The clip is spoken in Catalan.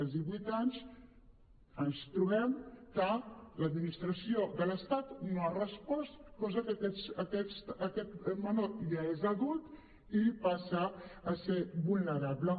i als divuit anys ens trobem que l’administració de l’estat no ha respost cosa que aquest menor ja és adult i passa a ser vulnerable